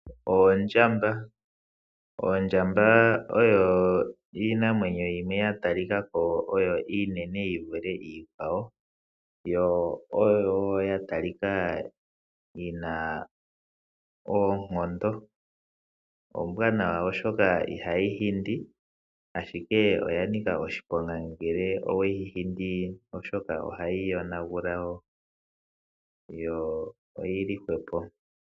Oondjamba, oondjamba oyo iinamwenyo yimwe ya tali ka ko oyo iinene yi vule iikwawo, yo oyo wo ya talika yina oonkondo. Ombwanawa oshoka ihayi hindi, ashike oya nika oshiponga ngele oweyi hindi, oshoka ohayi yo nagula yo oyili hwepo.